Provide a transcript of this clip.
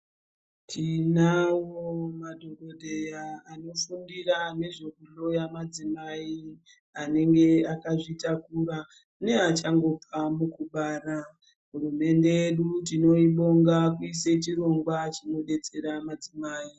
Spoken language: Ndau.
Tinawo madhokodheya anofundira nezvekuhloya madzimai anenge akazvitakura neachangobva mukubara hurumende yedu tinoibonga kuisa chirongwa chinodetsera madzimai.